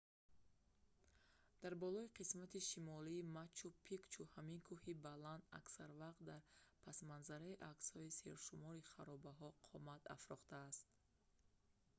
дар болои қисмати шимолии мачу-пикчу ҳамин кӯҳи баланд аксар вақт дар пасманзари аксҳои сершумори харобаҳо қомат афрохтааст